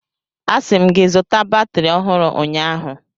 Asị m gị zụta batrị ọhụrụ ụnyaahụ!